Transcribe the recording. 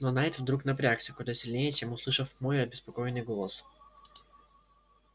но найд вдруг напрягся куда сильнее чем услышав мой обеспокоенный голос